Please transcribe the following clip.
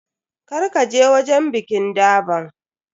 Kar ka je wajen bikin durban.